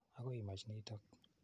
Akoi imach notok.